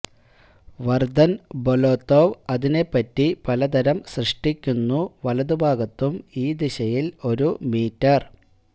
വര്തന് ബൊലൊതൊവ് അതിനെപറ്റി പലതരം സൃഷ്ടിക്കുന്നു വലതുഭാഗത്തും ഈ ദിശയിൽ ഒരു മീറ്റർ